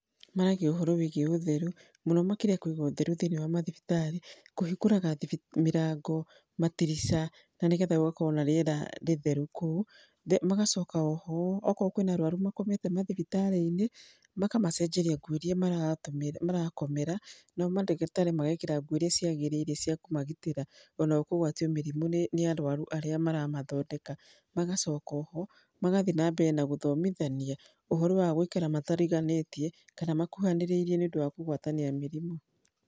Maragia ũhoro wĩgiĩ ũtheru, mũno makĩria kuiga ũtheru thiinĩ wa mathibitarĩ, kũhingũraga mĩrango, matirica, na nĩgetha gũgakorwo na rĩera rĩtheru kũu. Magacoka o ho okorwo kwĩna arũaru makomete mathibitarĩ-ini makamacenjeria nguo iria maratũmĩra marakomera nao mandagĩtarĩ magekĩra nguo iria ciagĩrĩire cia kũmagitĩra ona o kũgwatio mĩrimũ ni arũaru arĩa maramathondeka. Magacoka o ho magathiĩ na mbere na gũthomithania ũhoro wa gũikara matariganĩtie, kana makuhanĩrĩirie ni ũndũ wa kũgwatania mĩrimũ.